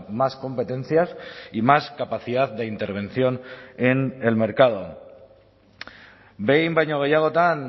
más competencias y más capacidad de intervención en el mercado behin baino gehiagotan